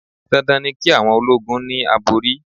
Dandan ni ki awon ológun ni àbòrí.